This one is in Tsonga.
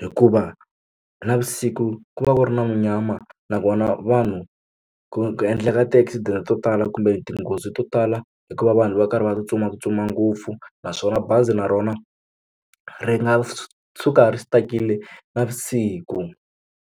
hikuva navusiku ku va ku ri na munyama nakona vanhu ku ku endleka ti-accident to tala kumbe tinghozi to tala hikuva vanhu va karhi va tsutsumatsutsuma ngopfu naswona bazi na rona ri nga suka ri stuck-ile navusiku.